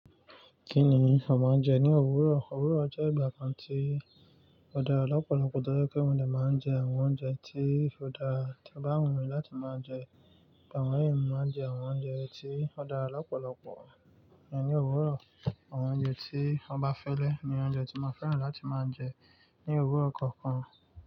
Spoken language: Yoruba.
Kí ni a máa ń jẹ ní òwúrọ̀? Òwúrọ̀ jẹ́ ìgbà kan tí ó dára lọ́pọ̀lọpọ̀ tó jẹ́ pe mọ́ de máa ń jẹ àwọn oúnjẹ tí ó dára tí bá wù mí láti máa jẹ. Bàwọn èèyàn máa ń jẹ àwọn oúnjẹ tí ó dára lọ́pọ̀lọpọ̀ ní òwúrọ̀. Àwọn oúnjẹ tí wọ́n bá fẹ́le ní oúnjẹ tí mo fẹ́ràn láti máa ń jẹ ní òwúrọ̀ kọ̀ọ̀kan.